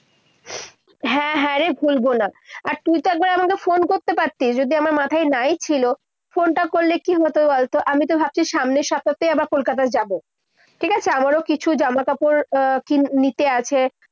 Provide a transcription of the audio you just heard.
হ্যাঁ, হ্যাঁ রে। ভুলবো না। আর তুই তো একবার আমাকে phone করতে পারতি, যদি আমার মাথায় না ই ছিল। phone টা করলে কি হতো বলতো? আমি তো ভাবছি আবার সামনের সপ্তাতে আবার কলকাতায় যাবো। ঠিক আছে? আমারো কিছু জামাকাপড় আহ নিতে আছে।